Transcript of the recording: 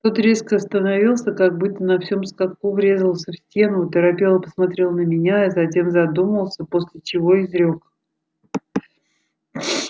тот резко остановился как будто на всем скаку врезался в стену оторопело посмотрел на меня затем задумался после чего изрёк